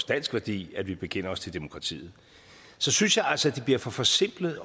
dansk værdi at vi bekender os til demokratiet så synes jeg altså at det bliver for forsimplet